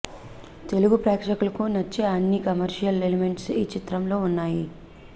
తెలుగు ప్రేక్షకులకు నచ్చే అన్ని కమర్షియల్ ఎలిమెంట్స్ ఈ చిత్రంలో వున్నాయి